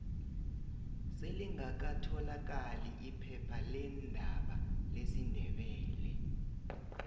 selibgaka tholakali iphepha leendaba lesindebele